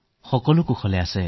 সকলোৱে আশাবাদী হৈ আছে